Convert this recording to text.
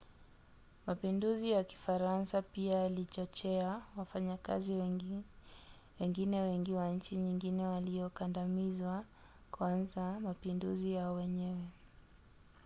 mapinduzi ya kifaransa pia yalichochea wafanyakazi wengine wengi wa nchi nyingine waliokandamizwa kuanza mapinduzi yao wenyewe